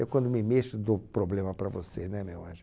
Eu, quando me mexo, dou problema para você, né, meu anjo?